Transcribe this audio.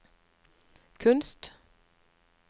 kunst